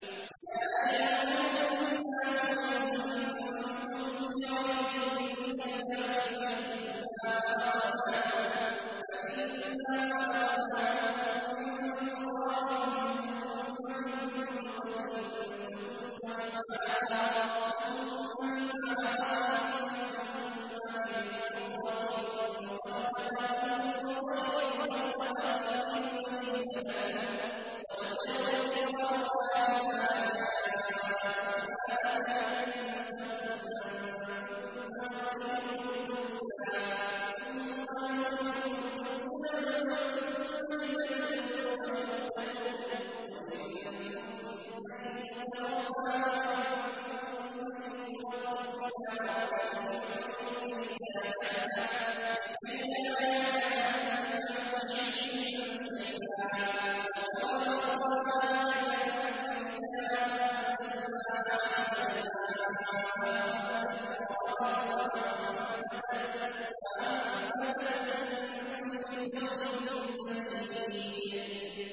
يَا أَيُّهَا النَّاسُ إِن كُنتُمْ فِي رَيْبٍ مِّنَ الْبَعْثِ فَإِنَّا خَلَقْنَاكُم مِّن تُرَابٍ ثُمَّ مِن نُّطْفَةٍ ثُمَّ مِنْ عَلَقَةٍ ثُمَّ مِن مُّضْغَةٍ مُّخَلَّقَةٍ وَغَيْرِ مُخَلَّقَةٍ لِّنُبَيِّنَ لَكُمْ ۚ وَنُقِرُّ فِي الْأَرْحَامِ مَا نَشَاءُ إِلَىٰ أَجَلٍ مُّسَمًّى ثُمَّ نُخْرِجُكُمْ طِفْلًا ثُمَّ لِتَبْلُغُوا أَشُدَّكُمْ ۖ وَمِنكُم مَّن يُتَوَفَّىٰ وَمِنكُم مَّن يُرَدُّ إِلَىٰ أَرْذَلِ الْعُمُرِ لِكَيْلَا يَعْلَمَ مِن بَعْدِ عِلْمٍ شَيْئًا ۚ وَتَرَى الْأَرْضَ هَامِدَةً فَإِذَا أَنزَلْنَا عَلَيْهَا الْمَاءَ اهْتَزَّتْ وَرَبَتْ وَأَنبَتَتْ مِن كُلِّ زَوْجٍ بَهِيجٍ